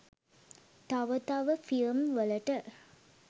තව තව ‍ෆිල්ම් වලට.